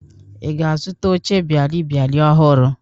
Ị ga-azụta oche bịalịbịalị ọhụrụ?